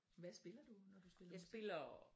Hvad spiller du når du spiller musik?